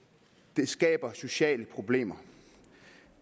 det skaber sociale problemer